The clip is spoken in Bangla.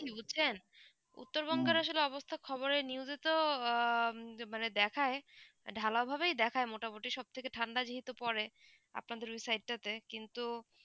বুঝছেন উত্তরবঙ্গের আসলে অবস্থা খবরে news এ তো আহ মানে দেখায় ঢালাও ভাবেই দেখায় মোটা মোটি সব থেকে থেকে ঠান্ডা যেহেতু পরে আপনার দের ওই side টা তে কিন্তু